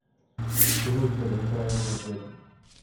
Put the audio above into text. салют это не правильный ответ